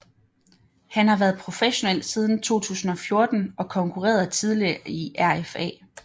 Han har været professionel siden 2014 og konkurrerede tidligere i RFA